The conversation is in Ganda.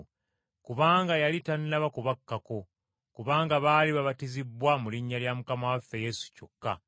kubanga yali tannaba kubakkako, kubanga baali babatizibbwa mu linnya lya Mukama waffe Yesu kyokka.